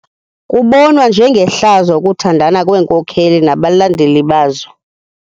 Kubonwa njengehlazo ukuthandana kweenkokeli nabalandeli bazo.